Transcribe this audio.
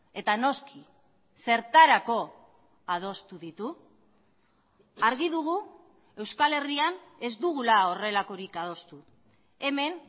eta noski zertarako adostu ditu argi dugu euskal herrian ez dugula horrelakorik adostu hemen